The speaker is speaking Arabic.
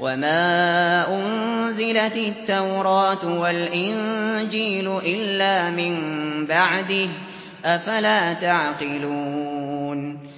وَمَا أُنزِلَتِ التَّوْرَاةُ وَالْإِنجِيلُ إِلَّا مِن بَعْدِهِ ۚ أَفَلَا تَعْقِلُونَ